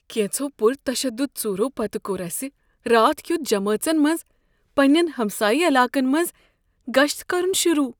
كینژو پُر تشدد ژورو پتہٕ کوٚر اسہ راتھ کیتھ جمٲژن منٛز پننٮ۪ن ہمسایہ علاقن منٛز گشت کرن شروٗع۔